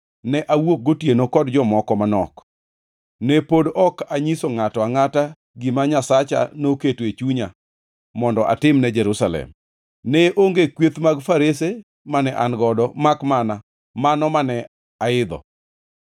ne awuok gotieno kod jomoko manok. Ne pod ok anyiso ngʼato angʼata gima Nyasacha noketo e chunya mondo atimne Jerusalem. Ne onge kweth mag farese mane an godo makmana mano mane aidho.